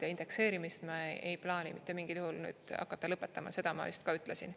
Ja indekseerimist me ei plaani mitte mingil juhul hakata lõpetama, seda ma ka ütlesin.